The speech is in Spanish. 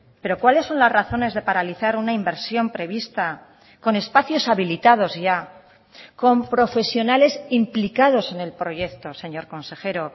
pero cuáles son las razones de paralizar una inversión prevista con espacios habilitados ya con profesionales implicados en el proyecto señor consejero